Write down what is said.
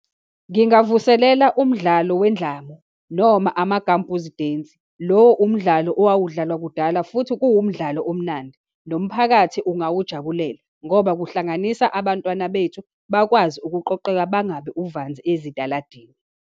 Ngingavulela umdlalo wendlamu, noma amagambhuzi dance. Lo umdlalo owawudlalwa kudala, futhi kuwumdlalo omnandi, nomphakathi ungawujabulela, ngoba kuhlanganisa abantwana bethu bakwazi ukuqoqeka, bangabi uvanzi esitaladini.